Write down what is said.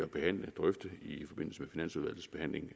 behandle og drøfte i forbindelse med finansudvalgets behandling